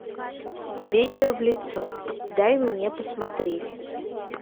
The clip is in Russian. ветер в лицо дай мне посмотреть